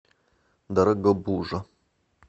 дорогобужа